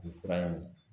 Bi fura in